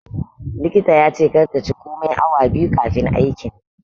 likita yace kar ta ci komai awa 2 kaifin aikin.